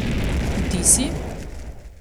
Vtisi?